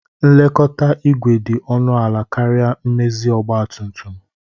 Nlekọta igwe dị ọnụ ala karịa mmezi ọgba tum tum